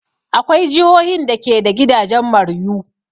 Akwai jihohin da ke da gidajen maruyu.